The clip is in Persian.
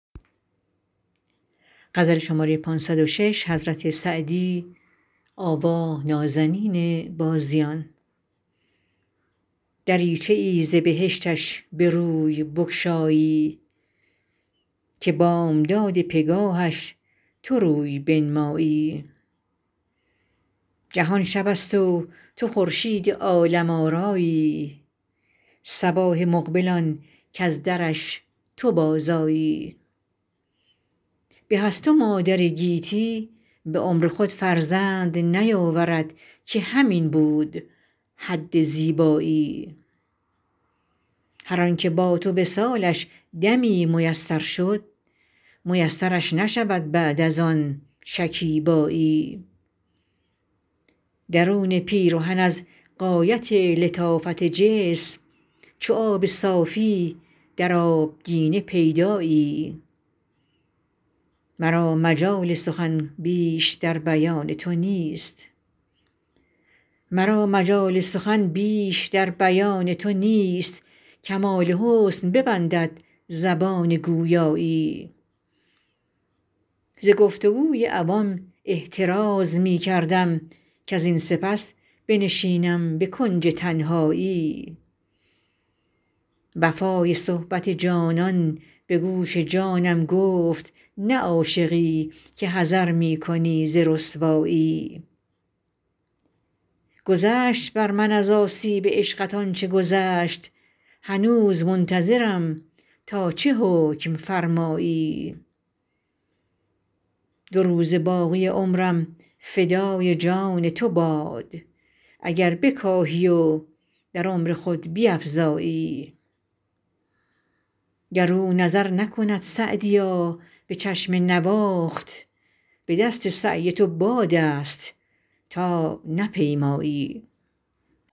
دریچه ای ز بهشتش به روی بگشایی که بامداد پگاهش تو روی بنمایی جهان شب است و تو خورشید عالم آرایی صباح مقبل آن کز درش تو بازآیی به از تو مادر گیتی به عمر خود فرزند نیاورد که همین بود حد زیبایی هر آن که با تو وصالش دمی میسر شد میسرش نشود بعد از آن شکیبایی درون پیرهن از غایت لطافت جسم چو آب صافی در آبگینه پیدایی مرا مجال سخن بیش در بیان تو نیست کمال حسن ببندد زبان گویایی ز گفت و گوی عوام احتراز می کردم کزین سپس بنشینم به کنج تنهایی وفای صحبت جانان به گوش جانم گفت نه عاشقی که حذر می کنی ز رسوایی گذشت بر من از آسیب عشقت آن چه گذشت هنوز منتظرم تا چه حکم فرمایی دو روزه باقی عمرم فدای جان تو باد اگر بکاهی و در عمر خود بیفزایی گر او نظر نکند سعدیا به چشم نواخت به دست سعی تو باد است تا نپیمایی